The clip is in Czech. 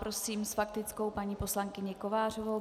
Prosím s faktickou paní poslankyni Kovářovou.